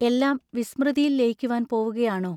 എല്ലാം വിസ്മൃതിയിൽ ലയിക്കുവാൻ പോവുകയാണോ?